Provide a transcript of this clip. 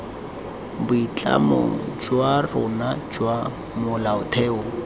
boitlamo jwa rona jwa molaotheo